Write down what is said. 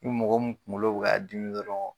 Ni mɔgɔ mun kungolo bɛ ka dimi dɔrɔn